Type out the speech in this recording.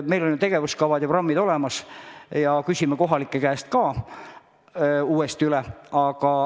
Meil on ju tegevuskavad ja programmid olemas ja küsime kohalike käest ka uuesti üle.